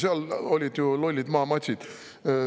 Seal olid ju lollid maamatsid.